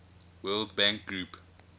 world bank group